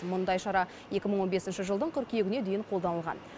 мұндай шара екі мың он бесінші жылдың қыркүйегіне дейін қолданылған